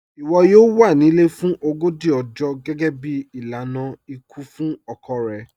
Iwọ yọọ wà ní ilẹ̀ fún ọgọ́jì ọ̀jọ̀ gẹgẹ̀bí ilànà ikú fún ọkọ̀ rẹ̀.